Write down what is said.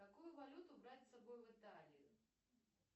какую валюту брать с собой в италию